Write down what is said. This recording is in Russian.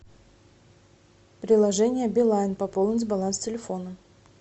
приложение билайн пополнить баланс телефона